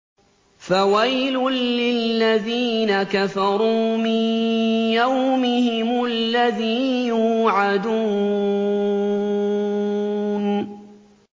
فَوَيْلٌ لِّلَّذِينَ كَفَرُوا مِن يَوْمِهِمُ الَّذِي يُوعَدُونَ